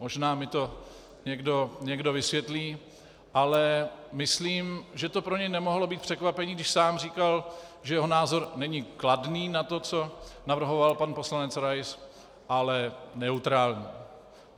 Možná mi to někdo vysvětlí, ale myslím, že to pro něj nemohlo být překvapení, když sám říkal, že jeho názor není kladný na to, co navrhoval pan poslanec Rais, ale neutrální.